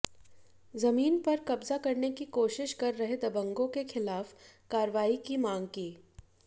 जमीन पर कब्जा करने की कोशिश कर रहे दबंगों के खिलाफ कार्रवाई की मांग की